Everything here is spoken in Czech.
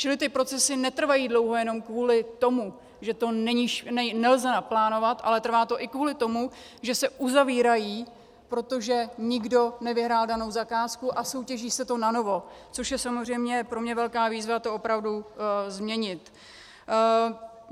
Čili ty procesy netrvají dlouho jenom kvůli tomu, že to nelze naplánovat, ale trvá to i kvůli tomu, že se uzavírají, protože nikdo nevyhrál danou zakázku, a soutěží se to nanovo, což je samozřejmě pro mě velká výzva to opravdu změnit.